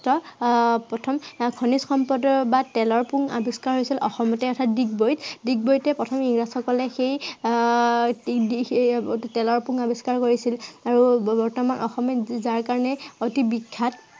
আহ প্ৰথম আহ খনিজ সম্পদৰ বা তেলৰ পুং আৱিস্কাৰ হৈছিল অসমতে। অৰ্থাত ডিগবৈত। ডগবৈতে প্ৰথম ইংৰাজসকল আহ তেলৰ পুং আৱিস্কাৰ কৰিছিল আৰু বৰ্তমান অসমে যাৰ কাৰনে অধিক বিখ্য়াত